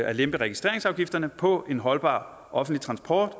at lempe registreringsafgifterne på en holdbar offentlig transport